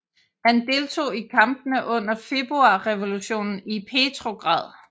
Han deltog i kampene under februarrevolutionen i Petrograd